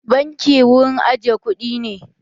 Banki wurin aje kuɗi ne.